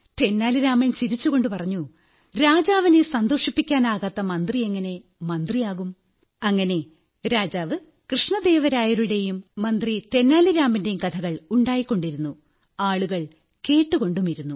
തെന്നാലി രാമൻ ചിരിച്ചുകൊണ്ടു പറഞ്ഞു രാജാവിനെ സന്തോഷിപ്പിക്കാനാകാത്ത മന്ത്രിയെങ്ങനെ മന്ത്രിയാകും അങ്ങനെ രാജാവ് കൃഷ്ണദേവരായരുടെയും മന്ത്രി തെന്നാലിരാമന്റെയും കഥകൾ ഉണ്ടായിക്കൊണ്ടിരുന്നു ആളുകൾ കേട്ടുകൊണ്ടുമിരുന്നു